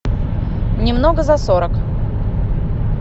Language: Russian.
немного за сорок